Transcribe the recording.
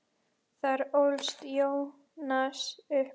Þar ólst Jónas upp.